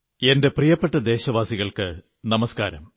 എന്റെ പ്രിയപ്പെട്ട ദേശവാസികൾക്കു നമസ്കാരം